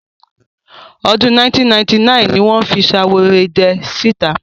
Ọdún 1999 ni fi Ṣaworoidẹ sí ìta.